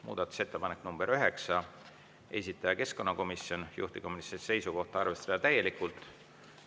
Muudatusettepanek nr 9, esitaja keskkonnakomisjon, juhtivkomisjoni seisukoht on arvestada täielikult.